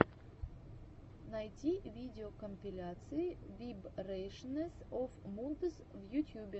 найти видеокомпиляция вибрэйшэнс оф мудс в ютьюбе